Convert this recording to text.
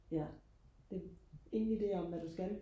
ja det ingen ide om hvad du skal?